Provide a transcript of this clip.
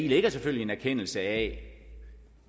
ligger selvfølgelig en erkendelse af